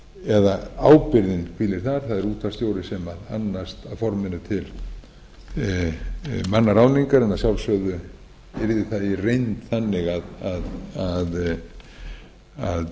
eða ábyrgðin hvílir þar það er útvarpsstjórinn sem annast að forminu til mannaráðningar en að sjálfsögðu yrði það í reynd þannig að